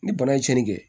Ni bana ye tiɲɛni kɛ